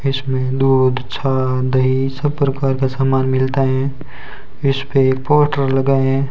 इसमें दूध छा दही सब प्रकार का सामान मिलते हैं इसपे एक पोस्टर लगाये हैं।